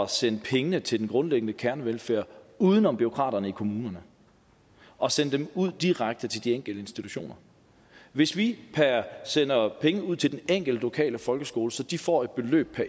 sende pengene til den grundlæggende kernevelfærd uden om bureaukraterne i kommunerne og sende dem ud direkte til de enkelte institutioner hvis vi sender pengene ud til den enkelte lokale folkeskole så de får et beløb